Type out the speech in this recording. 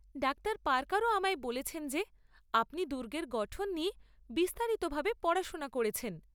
Doctor পার্কারও আমায় বলেছেন যে আপনি দুর্গের গঠন নিয়ে বিস্তারিতভাবে পড়াশোনা করেছেন।